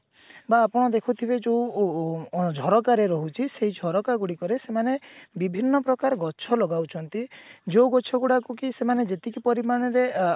ବା ଆପଣ ଦେଖୁଥିବେ ଯୋଉ ଉ ଉ ଉଁ ଝରକାରେ ରହୁଛି ସେଇ ଝରକା ଗୁଡିକରେ ସେମାନେ ବିଭିନ୍ନ ପ୍ରକାର ଗଛ ଲଗାଉଛନ୍ତି ଯୋଉ ଗଛ ଗୁଡାକ କି ସେମାନେ ଯେତିକି ପରିମାଣରେ ଅ